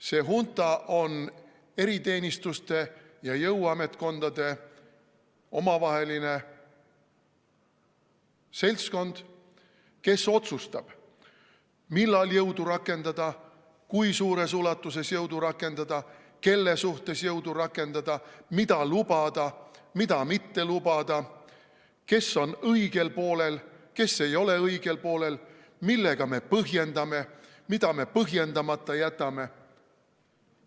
See hunta on eriteenistuste ja jõuametkondade omavaheline seltskond, kes otsustab, millal jõudu rakendada, kui suures ulatuses jõudu rakendada, kelle vastu jõudu rakendada, mida lubada, mida mitte lubada, kes on õigel poolel, kes ei ole õigel poolel, millega me põhjendame, mida me põhjendamata jätame.